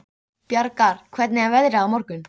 Bjargar, hvernig er veðrið á morgun?